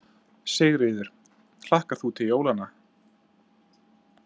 Sigríður: Hlakkar þú til jólanna?